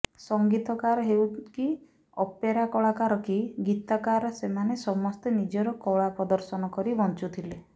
ସଙ୍ଗୀତକାର ହେଉ କି ଅପେରା କଳାକାର କି ଗୀତକାର ସେମାନେ ସମସ୍ତେ ନିଜର କଳା ପ୍ରଦର୍ଶନ କରି ବଂଚୁଥିଲେ